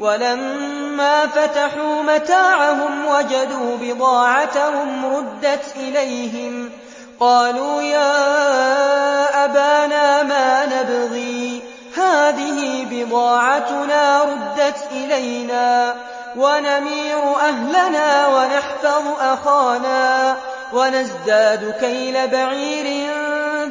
وَلَمَّا فَتَحُوا مَتَاعَهُمْ وَجَدُوا بِضَاعَتَهُمْ رُدَّتْ إِلَيْهِمْ ۖ قَالُوا يَا أَبَانَا مَا نَبْغِي ۖ هَٰذِهِ بِضَاعَتُنَا رُدَّتْ إِلَيْنَا ۖ وَنَمِيرُ أَهْلَنَا وَنَحْفَظُ أَخَانَا وَنَزْدَادُ كَيْلَ بَعِيرٍ ۖ